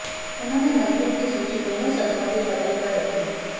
उन्होंने मंत्रियों की सूची दोनों सदनों के पटल पर रखी